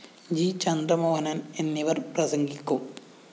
G Chandramohanan‍ എന്നിവര്‍ പ്രസംഗിക്കും